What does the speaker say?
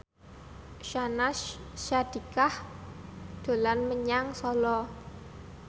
Syahnaz Sadiqah dolan menyang Solo